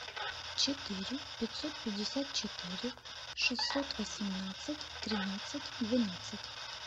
четыре пятьсот пятьдесят четыре шестьсот восемнадцать тринадцать двенадцать